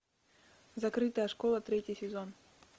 закрытая школа третий сезон